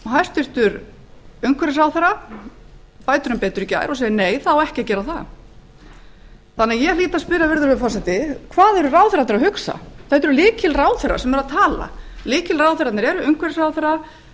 hæstvirtur umhverfisráðherra bætir um betur í gær og segir nei það á ekki að gera það ég hlýt að spyrja virðulegi forseti hvað eru ráðherrarnir að hugsa þetta eru lykilráðherrar sem eru að tala lykilráðherrarnir eru umhverfisráðherra